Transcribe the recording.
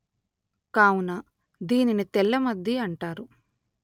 కావున దీనిని తెల్లమద్ది అంటారు